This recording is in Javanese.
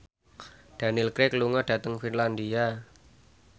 Daniel Craig lunga dhateng Finlandia